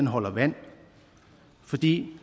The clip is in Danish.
holder vand fordi